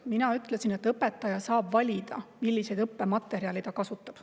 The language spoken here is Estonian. Mina ütlesin, et õpetaja saab valida, milliseid õppematerjale ta kasutab.